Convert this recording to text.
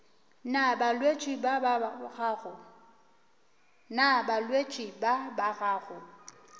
na balwetši ba ba gago